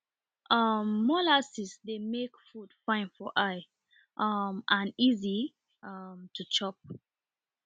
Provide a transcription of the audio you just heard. um molasses dey make food fine for eye um and easy um to chop